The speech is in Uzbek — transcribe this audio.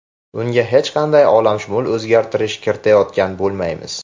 Unga hech qanday olamshumul o‘zgartirish kiritayotgan bo‘lmaymiz.